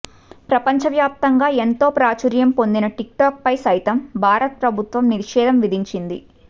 ప్రపంచ వ్యాప్తంగా ఎంతో ప్రాచుర్యం పొందిన టిక్టాక్ పై సైతం భారత ప్రభుత్వం నిషేధం విధించింది